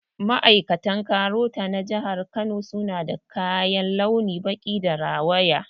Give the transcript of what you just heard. Ma'aikatan KAROTA na jihar Kano suna da kaya launin baƙi da rawaya